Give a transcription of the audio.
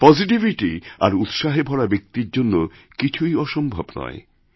positivity আর উৎসাহে ভরা ব্যক্তির জন্য কিছুই অসম্ভব নয়